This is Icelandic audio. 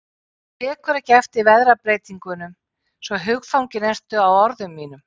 Þú tekur ekki eftir veðrabreytingunum, svo hugfangin ertu af orðum mínum.